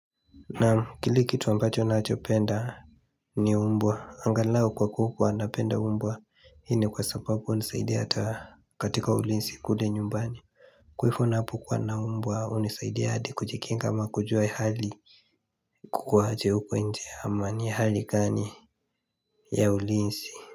Naam kile kitu ambacho nachopenda ni mbwa angalao kwa kuwa napenda umbo hii ni kwa sababu hunisaidia hata katika ulinsi kule nyumbani Kwa hifo napokuwa na mbwa hunisaidia hadi kujikinga ama kujua ya hali kukuwa aje huko nje ama ni hali gani ya ulinsi.